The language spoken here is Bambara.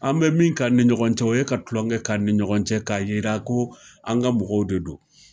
An bɛ min k'a ni ɲɔgɔn cɛ, o ye ka tulonkɛ k'a ni ɲɔgɔn cɛ k'a yira ko an ka mɔgɔw de don.